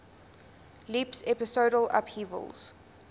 leaps episodal upheavals